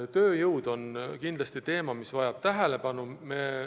Tööjõud on kindlasti teema, mis vajab tähelepanu.